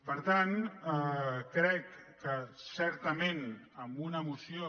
per tant crec que certament amb una moció